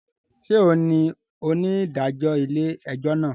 Ṣe òun ní onidajọ ilé-ẹjọ náà?